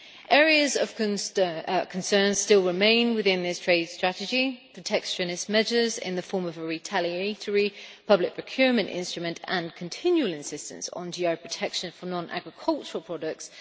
Areas of concern still remain within this trade strategy protectionist measures in the form of a retaliatory public procurement instrument and continual insistence on GI protection for non agricultural products.